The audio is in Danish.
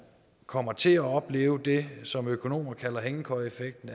kommer til at opleve det som økonomer kalder hængekøjeeffekten